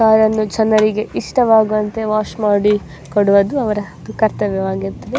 ಕಾರನ್ನು ಜನರಿಗೆ ಇಷ್ಟವಾಗುವಂತೆ ವಾಶ್ ಮಾಡಿ ಕೊಡುವದ್ದು ಅವರ ಕರ್ತವ್ಯ ವಾಗಿದ್ದು --